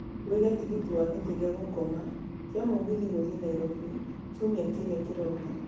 wiĩge tigiti wa gĩtĩ gĩa gũkoma kia mũgithi gũthiĩ nairobi kiumia kĩrĩa kĩroka